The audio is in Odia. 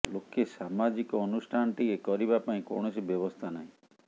ଲୋକେ ସାମାଜିକ ଅନୁଷ୍ଠାନଟିଏ କରିବା ପାଇଁ କୌଣସି ବ୍ୟବସ୍ଥା ନାହିଁ